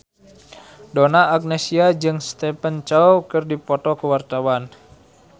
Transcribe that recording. Donna Agnesia jeung Stephen Chow keur dipoto ku wartawan